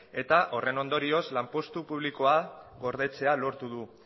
eta horren ondorioz lanpostu publikoa gordetzea lortu du